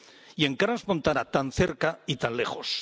Y en Crans Montana, tan cerca y tan lejos.